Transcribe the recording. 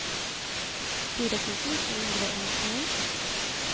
fire tusen to hundre og nittini